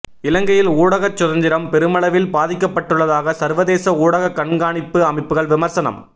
இலங்கையில் ஊடகச் சுதந்திரம் பெருமளவில் பாதிக்கப்பட்டுள்ளதாக சர்வதேச ஊடகக் கண்காணிப்பு அமைப்புகள் விமர்சனம்